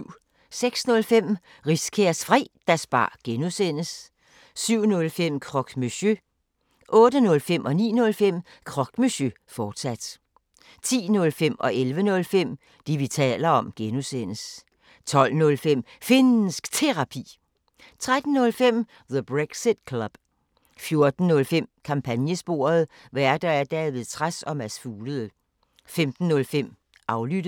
06:05: Riskærs Fredagsbar (G) 07:05: Croque Monsieur 08:05: Croque Monsieur, fortsat 09:05: Croque Monsieur, fortsat 10:05: Det, vi taler om (G) 11:05: Det, vi taler om (G) 12:05: Finnsk Terapi 13:05: The Brexit Club 14:05: Kampagnesporet: Værter: David Trads og Mads Fuglede 15:05: Aflyttet